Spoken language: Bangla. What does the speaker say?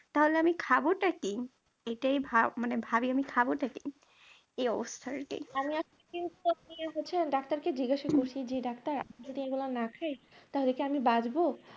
তাহলে আমি খাবটা কি এটাই ভাব মানে ভাবি আমি খাবটা কি এ অবস্থায় আর কি আমি আজকে কিন্তু হচ্ছে ডাক্তার কে জিজ্ঞাসা করেছি যে ডাক্তার আমি যদি এগুলো না খায় তাহলে কি আমি বাঁচবো?